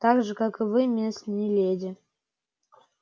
так же как и вы мисс не леди